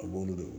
A b'olu dɔn